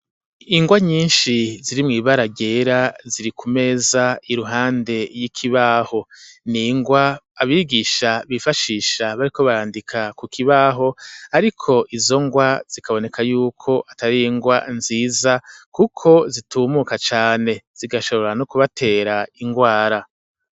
Ingwa nyinshi ziri mw'ibara ryera, ziri ku meza iruhande y'ikibaho, ni ingwa abigisha bifashisha bariko barandika ku kibaho, ariko izo ngwa zikaboneka y'uko atari ingwa nziza, kuko zitumuka cane, zigashobora no kubatera ingwara.